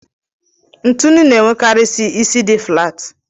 ntụnụ na-enwekarị isi dị flaat.